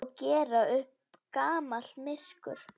Og gera upp gamalt myrkur.